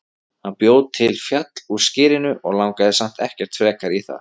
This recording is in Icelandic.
Hann bjó til fjall úr skyrinu en langaði samt ekkert frekar í það.